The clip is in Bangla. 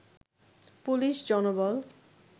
পুলিশ জনবল